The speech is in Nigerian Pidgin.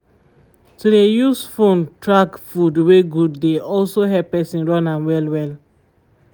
to dey use phone track food wey good dey also help person run am very well